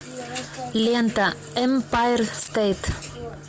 лента эмпайр стейт